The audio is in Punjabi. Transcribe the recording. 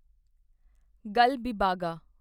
ਗਲਗੀਬਾਗਾ